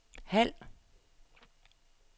halv